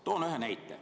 Toon ühe näite.